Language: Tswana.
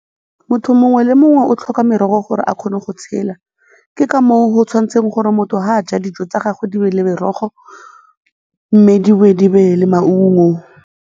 Motho mongwe le mongwe o tlhoka merogo gore a kgone go tshela, ke ka moo go tshwanetseng gore motho fa a ja dijo tsa gagwe di be le merogo mme di boe di be le maungo.